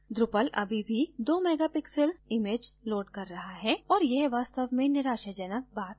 drupal अभी भी 2 megapixel image loads कर रहा है और यह वास्तव में निराशाजनक बात हो सकती है